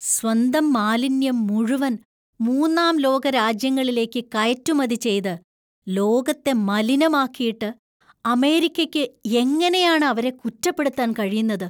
സ്വന്തം മാലിന്യം മുഴുവൻ മൂന്നാം ലോക രാജ്യങ്ങളിലേക്ക് കയറ്റുമതി ചെയ്ത് ലോകത്തെ മലിനമാക്കിയിട്ട് അമേരിക്കയ്ക്ക് എങ്ങനെയാണ് അവരെ കുറ്റപ്പെടുത്താൻ കഴിയുന്നത് ?